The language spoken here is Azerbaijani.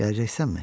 Gələcəksənmi?